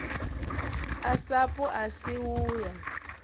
a sapu asi u ya